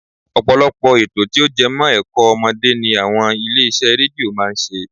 Ọ̀pọ̀lọpọ̀ ètò tí ó jẹmọ́ ẹ̀kọ́ ọmọdé ni àwọn ilé iṣẹ́ rédíó máa ń ṣe